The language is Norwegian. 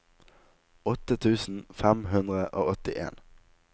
åtte tusen fem hundre og åttien